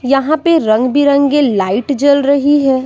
यहां पे रंग बिरंगे लाइट जल रही है।